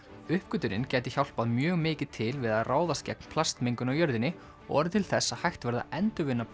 uppgötvunin gæti hjálpað mjög mikið til við að ráðast gegn plastmengun á jörðinni og orðið til þess að hægt verði að endurvinna